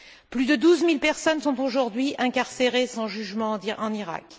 Plus de douze mille personnes sont aujourd'hui incarcérées sans jugement en Irak.